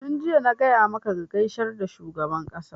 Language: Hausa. tun jiya na gaya maka ka gaishe da shugaban ƙasa!